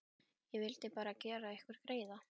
Ég vildi bara gera ykkur greiða.